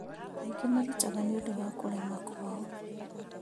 Angĩ marutaga nĩũndũ wa kũrema kwao